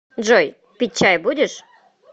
джой пить чай будешь